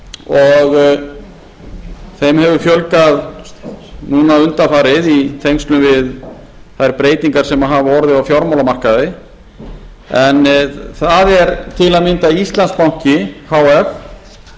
og þeim hefur fjölgað núna undanfarið í tengslum við þær breytingar sem hafa orðið á fjármálamarkaði en það er til að mynda íslandsbanki h f